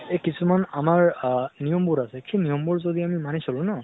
এহ কিছুমান আমাৰ আ নিয়মবোৰ আছে, সেই নিয়মবোৰ যদি আমি মানি চলো ন